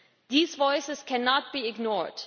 These voices cannot be ignored.